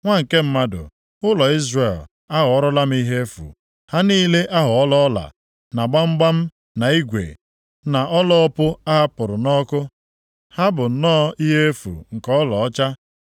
“Nwa nke mmadụ, ụlọ Izrel aghọọlara m ihe efu. Ha niile aghọọla ọla, na gbamgbam, na igwe, na ọla opu a hapụrụ nʼọkụ. Ha bụ nnọọ ihe efu nke ọlaọcha.